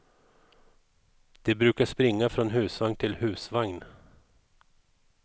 De brukar springa från husvagn till husvagn.